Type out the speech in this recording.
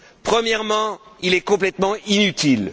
Premièrement, il est complètement inutile.